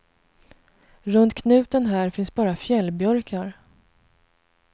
Runt knuten här finns bara fjällbjörkar.